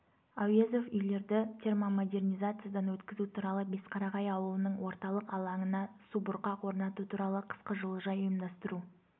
әуезов үйлерді термомодернизациядан өткізу туралы бесқарағай ауылының орталық алаңына субұрқақ орнату туралы қысқы жылыжай ұйымдастыру